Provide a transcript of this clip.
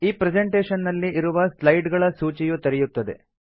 ಈ ಪ್ರೆಸೆಂಟೇಷನ್ ನಲ್ಲಿ ಇರುವ ಸ್ಲೈಡ್ ಗಳ ಸೂಚಿಯು ತೆರೆಯುತ್ತದೆ